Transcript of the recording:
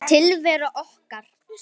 Tilvera okkar